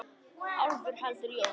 Álfur heldur jól.